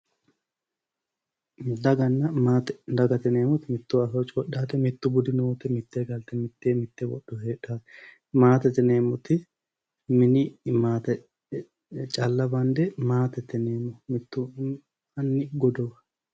Daganna maate, dagate yineemmoti mitto afoo coyidhaate mittu budi noote , mittee galte mittee mitte wodhoyi heedhaate. Maatete yineemmoti mini maate calla bande maatete yineemmo mittu anni godowa.